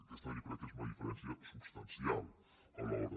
aquesta jo crec que és una diferència substancial alhora